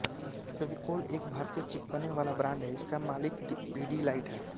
फेविकोल एक भारतीय चिपकने वाला ब्रांड है इसका मालिक पिडीलाइट है